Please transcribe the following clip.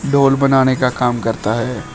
ढोल बनाने का काम करता है।